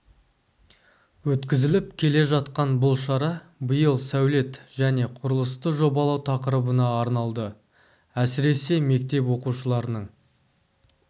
өткізіліп келе жатқан бұл шара биыл сәулет және құрылысты жобалау тақырыбына арналды әсіресе мектеп оқушыларының